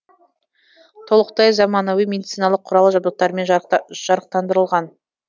толықтай заманауи медициналық құрал жабдықтармен жарықтандырылған